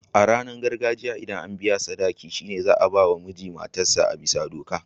A ranar auren gargajiya, ldan an biya sadaki'n, shine za'a ba ma na mijin matar sa a'bisa doka.